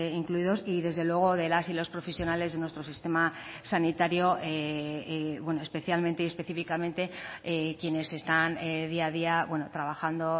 incluidos y desde luego de las y los profesionales de nuestro sistema sanitario especialmente y específicamente quienes están día a día trabajando